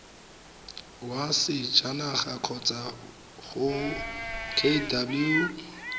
wa sejanaga kgotsa go kw